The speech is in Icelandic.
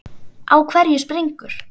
Á hverju springur?